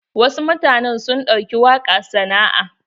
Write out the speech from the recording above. Wasu mutanen sun ɗauki waƙa sana'a.